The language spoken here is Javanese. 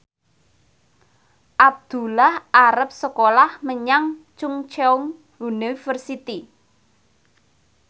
Abdullah arep sekolah menyang Chungceong University